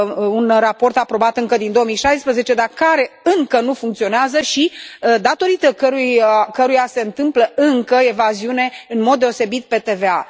un raport aprobat încă din 2016, dar care încă nu funcționează și datorită căruia se întâmplă încă evaziune, în mod deosebit pe TVA.